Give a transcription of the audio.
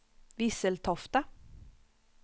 Visseltofta